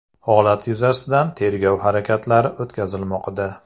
Holat yuzasidan tergov harakatlari o‘tkazilmoqda.